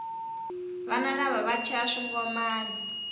vana lava va chaya swingomani